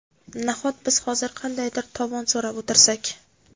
Nahot biz hozir qandaydir tovon so‘rab o‘tirsak?